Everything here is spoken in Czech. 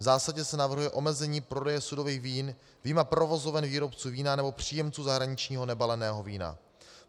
V zásadě se navrhuje omezení prodeje sudových vín vyjma provozoven výrobců vína nebo příjemců zahraničního nebaleného vína.